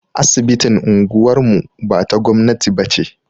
Asibitin unguwar mu ba ta gwamnati ba ce.